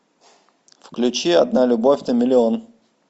включи одна любовь на миллион